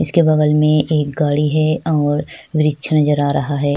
इसके बगल मै एक गाड़ी है और विरिक्च नजर आ रहा है।